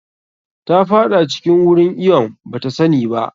Ta faɗa cikin wurin iwon bata sani ba.